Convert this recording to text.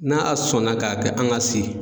N'a sɔnna k'a kɛ an ka se.